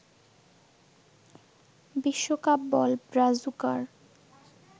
বিশ্বকাপ বল ব্রাজুকার